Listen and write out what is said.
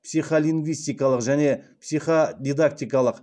психолингвистикалық және психодидактикалық